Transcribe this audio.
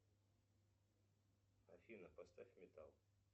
афина поставь металл